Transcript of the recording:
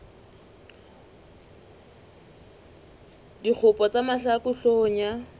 dikgopo tsa mahlaku hloohong ya